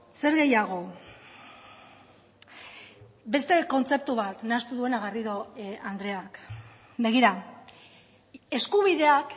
zer gehiago beste kontzeptu bat nahastu duena garrido andreak begira eskubideak